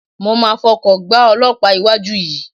Mo máa fọkọ̀ gbá olọ́pàá iwájú yìí.